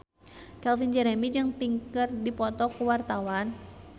Calvin Jeremy jeung Pink keur dipoto ku wartawan